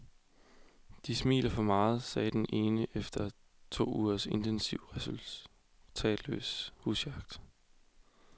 De smiler for meget, sagde den ene efter to ugers intensiv, resultatløs husjagt.